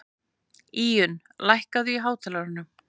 Íunn, lækkaðu í hátalaranum.